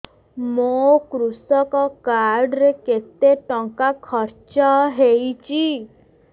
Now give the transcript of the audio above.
ମୋ କୃଷକ କାର୍ଡ ରେ କେତେ ଟଙ୍କା ଖର୍ଚ୍ଚ ହେଇଚି